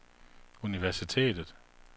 universitetet